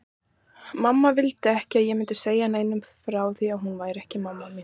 Mamma vildi ekki að ég segði neinum frá því að hún væri ekki mamma mín.